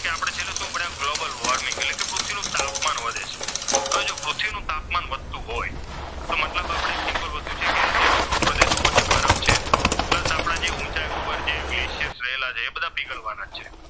કે આપણે છેલ્લે શું ભણ્યા ગ્લોબલ વોર્મિંગ એટલે કે પૃથ્વીનો તાપમાન વધે છે. હવે જો પૃથ્વીનું તાપમાન વધતું હોય તો મતલબ આપણે એક વસ્તુ છે કે જે ધ્રુવ પ્રદેશ ઉપર બરફ છે. પ્લસ આપણા જે ઊંચાઈ ઉપર જે ગ્લેશિયસ રહેલા છે એ બધા પીગળવાના જ છે.